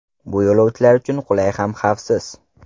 Bu yo‘lovchilar uchun qulay ham xavfsiz.